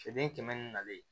Feere kɛmɛ ni nalen